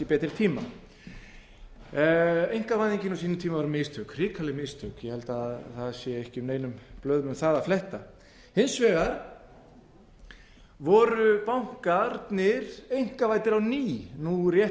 betri tíma einkavæðingin á sínum tíma var mistök hrikaleg mistök ég held að það sé ekki neinum blöðum um það að fletta hins vegar eru bankarnir einkavæddir á ný nú rétt